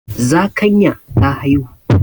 Zakanya ta haihu.